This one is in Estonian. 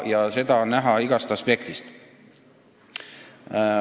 Ja seda on näha igast aspektist.